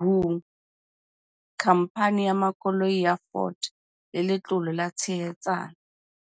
WHO, Khamphani ya Makoloi ya Ford le Letlole la Tshehetsano.